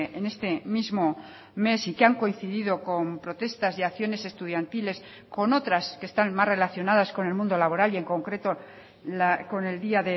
en este mismo mes y que han coincidido con protestas y acciones estudiantiles con otras que están más relacionadas con el mundo laboral y en concreto con el día